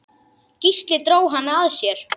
Gísli dró hana að sér.